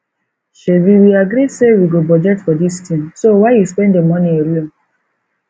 shebi we agree say we go budget for dis thing so why you spend the money alone